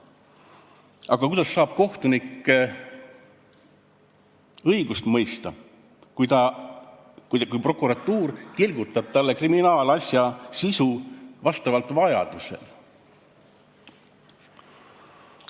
Aga kuidas saab kohtunik õigust mõista, kui prokuratuur tilgutab talle kriminaalasja sisu vastavalt vajadusele?